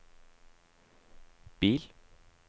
bil